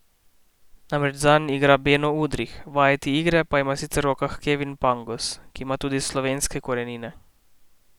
Namreč zanj igra Beno Udrih, vajeti igre pa ima sicer v rokah Kevin Pangos, ki ima tudi slovenske korenine.